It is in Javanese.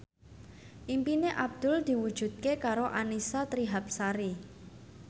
impine Abdul diwujudke karo Annisa Trihapsari